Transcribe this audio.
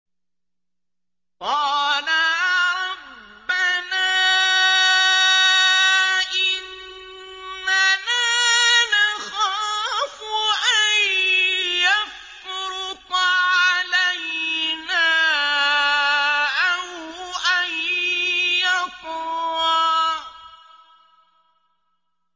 قَالَا رَبَّنَا إِنَّنَا نَخَافُ أَن يَفْرُطَ عَلَيْنَا أَوْ أَن يَطْغَىٰ